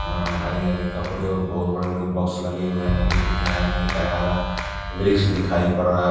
अह हरे हरे कपड़े और बोहत बड़े बड़े बॉक्स लगे हुए हैं। नदी के किनारे में एक हरा हरा वृक्ष दिखाई पड़ रहा--